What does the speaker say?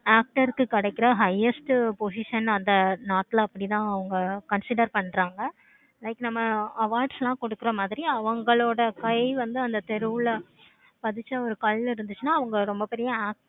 actor க்கு கிடைக்கிற highest position அந்த நாட்டுல அப்படினா அவங்க அப்படி தான் consider பன்றாங்க. like நம்ம awards எல்லாம் கொடுக்குற மாதிரி அவங்களோட கை வந்து அவங்க தெருவுல பதிச்ச ஒரு கல் இருந்துச்சுன்னா அவங்க ரொம்ப பெரிய